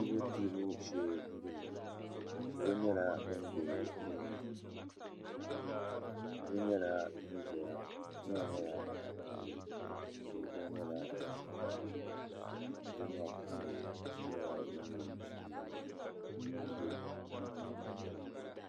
pɛbupɛbu shɛɛ n bɔŋɔ salo nyɛla din bɛ dini yili nyɛla din ʒɛya tihi gba nyɛla din saya ka be puuni so yɛla liga bulu